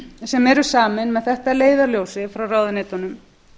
sem eru samin með þetta að leiðarljósi frá ráðuneytunum